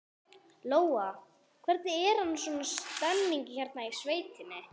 Lóa: Hvernig er annars svona stemningin hérna í sveitinni?